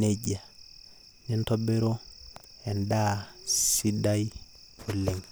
nejia nintobiru endaa sida oleng.